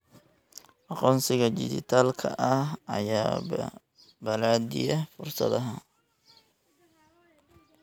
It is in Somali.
Aqoonsiga dhijitaalka ah ayaa balaadhiya fursadaha.